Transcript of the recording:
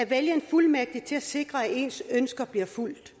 vælge en befuldmægtiget til at sikre at ens ønsker bliver fulgt